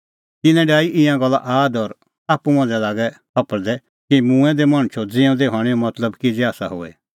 तिन्नैं डाही ईंयां गल्ला आद और आप्पू मांझ़ै लागै छफल़दै कि मूंऐं दै मणछो ज़िऊंदै हणैंओ मतलब किज़ै आसा होए